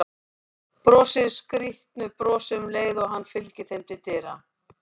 Brosir skrýtnu brosi um leið og hann fylgir þeim til dyra.